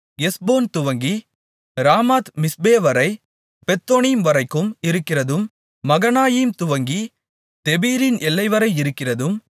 எஸ்போன் துவங்கி ராமாத்மிஸ்பே வரை பெத்தொனீம் வரைக்கும் இருக்கிறதும் மகனாயீம் துவங்கி தெபீரின் எல்லைவரை இருக்கிறதும்